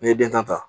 N'i ye den tan ta